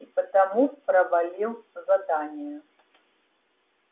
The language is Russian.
и потому провалил задание